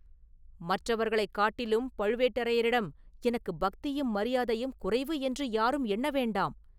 “மற்றவர்களைக் காட்டிலும் பழுவேட்டரையரிடம் எனக்குப் பக்தியும் மரியாதையும் குறைவு என்று யாரும் எண்ண வேண்டாம்.